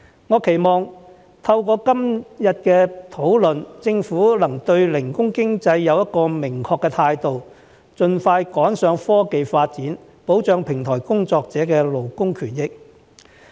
我期望透過今天的討論，政府能對零工經濟有一個明確的態度，盡快趕上科技發展，保障平台工作者的勞工權益。